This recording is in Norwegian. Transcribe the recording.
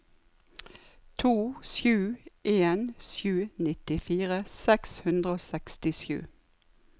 to sju en sju nittifire seks hundre og sekstisju